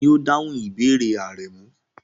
Tani o dahun ibeere Aremu?